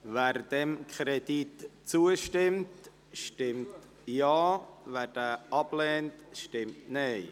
Wer diesem Kredit zustimmt, stimmt Ja, wer diesen ablehnt, stimmt Nein.